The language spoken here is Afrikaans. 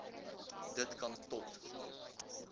dit kan tot